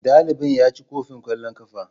dalibin ya ci kofin kwallon kafa.